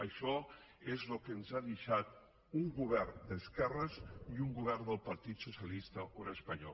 això és el que ens ha deixat un govern d’esquerres i un govern del partit socialista obrer espanyol